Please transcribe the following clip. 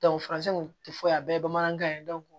faransɛ kun ti foyi a bɛɛ ye bamanankan ye